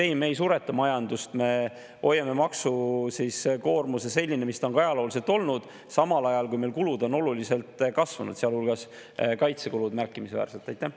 Ehk et ei, me ei sureta majandust, me hoiame maksukoormuse sellisena, nagu see on ajalooliselt olnud, samal ajal kui meil on oluliselt kasvanud kulud, sealhulgas märkimisväärselt kaitsekulud.